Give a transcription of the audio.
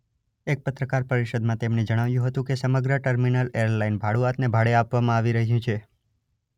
એક પત્રકાર પરિષદમાં તેમને જણાવ્યું હતું કે સમગ્ર ટર્મિનલ એરલાઇન ભાડુઆતને ભાડે આપવામાં આવી રહ્યું છે.